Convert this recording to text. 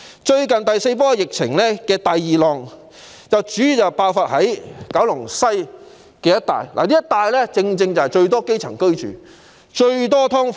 最近的第四波疫情第二浪主要在九龍西一帶爆發，這一帶正正有最多基層市民居住、最多"劏房"。